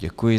Děkuji.